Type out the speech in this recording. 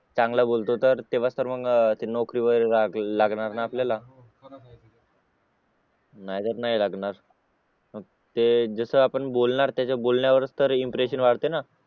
चांगला बोलतो तर तेव्हाच तर मग ते नोकरीवर लागणार ना आपल्याला नाहीतर नाही लागणार मग ते जसा पण बोलणार त्याच्या बोलण्यावरच तर इम्प्रेशन वाढते ना